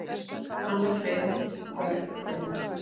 Hanna, Freyr og börn, Grund.